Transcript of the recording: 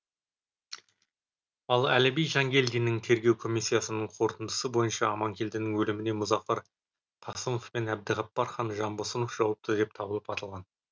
ал әліби жангелдиннің тергеу комиссиясының қорытындысы бойынша аманкелдінің өліміне мұзафар қасымов пен әбдіғапар хан жанбосынов жауапты деп табылып атылған